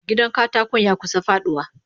Gidan katakon yakusa faduwa.